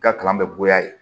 I ka kalan bɛ bonya yen